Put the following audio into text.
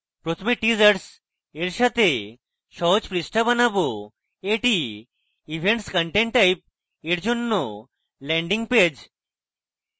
প্রথমে teasers এর সাথে সহজ পৃষ্ঠা বানাবো এটি events content type এর জন্য landing পেজ